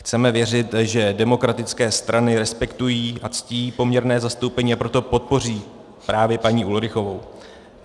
Chceme věřit, že demokratické strany respektují a ctí poměrné zastoupení, a proto podpoří právě paní Ulrichovou.